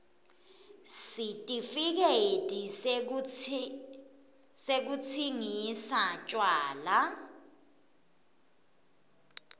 sitifiketi sekutsingisa tjwala